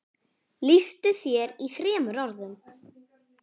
Lýstu þér í þremur orðum.